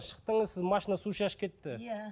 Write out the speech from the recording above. шықтыңыз сіз машина су шашып кетті иә